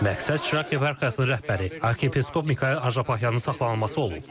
Məqsəd Çraq yeparxiyasının rəhbəri arxiyepiskop Mikayıl Açapaxyanın saxlanılması olub.